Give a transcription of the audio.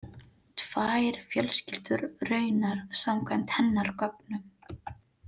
Tvær fjölskyldur raunar samkvæmt hennar gögnum.